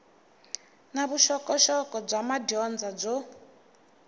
na vuxokoxoko bya madyondza byo